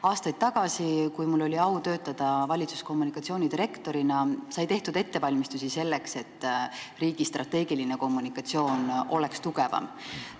Aastaid tagasi, kui mul oli au töötada valitsuskommunikatsiooni direktorina, sai tehtud ettevalmistusi selleks, et riigi strateegiline kommunikatsioon oleks tugevam.